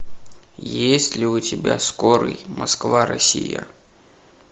есть ли у тебя скорый москва россия